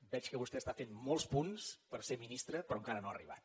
veig que vostè està fent molts punts per ser ministra però encara no hi ha arribat